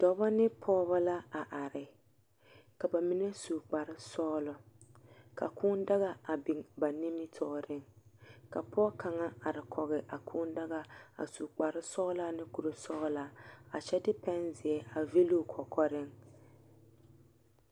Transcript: Dɔba ne pɔgeba la a are. Ka mine su kpare sɔgelɔ. ka kũũ daga a biŋ ba nimitɔɔre ka pɔge kaŋa a are kɔge a kũũ daga a su kpare sɔgelaa ne kuri sɔgelaa kyɛde pɛnzeɛ a vili o kɔkɔreŋ.